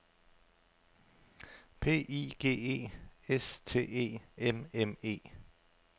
P I G E S T E M M E